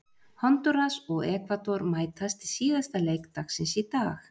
Hondúras og Ekvador mætast í síðasta leik dagsins í dag.